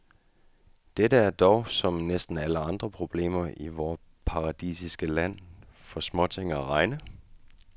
Dette er dog, som næsten alle andre problemer i vort paradisiske land, for småting at regne.